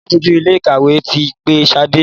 àlabòjuto Ilé-ìkàwé tí pé Shade.